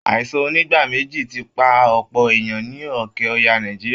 Aìsàn onígbáméjì ti pa ọ̀pọ̀ èèyàn ní òkè ọya nàìjíríà